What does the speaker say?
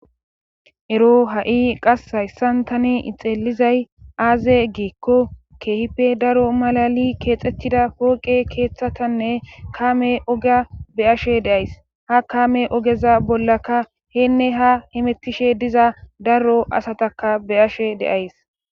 ero ha7i qashayssan tani ixilizay aaze giikko keehpe daro malali keexettida pooqe keeththatanne kame oga be ashe deays ha kaame ogeza bollaka heenne ha himettishe diza daro asataka be ashe deays